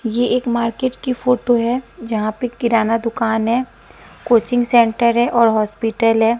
ये एक मार्केट की फोटो है जहां पे किराना दुकान है कोचिंग सेंटर है और हॉस्पिटल है।